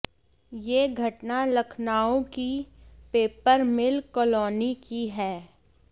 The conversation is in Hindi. ये घटना लखनऊ की पेपर मिल कॉलोनी की है